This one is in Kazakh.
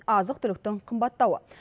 азық түліктің қымбаттауы